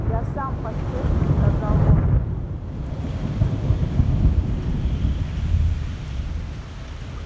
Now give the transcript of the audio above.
я сам поспешно сказал он